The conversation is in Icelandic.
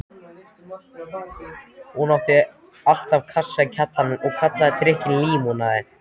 Hún átti alltaf kassa í kjallaranum og kallaði drykkinn límonaði.